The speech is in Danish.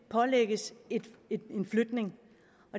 pålægges en flytning